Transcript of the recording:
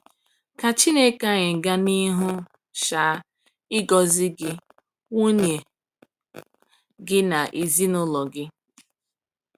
Ka Chineke anyị gaa n’ihu um ịgọzi gị, nwunye gị na ezinụlọ gị!